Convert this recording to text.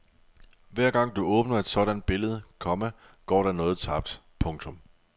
Hver gang du åbner et sådant billede, komma går der noget tabt. punktum